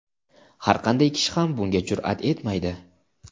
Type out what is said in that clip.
har qanday kishi ham bunga jur’at etmaydi.